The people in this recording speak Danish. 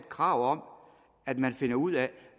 krav om at man finder ud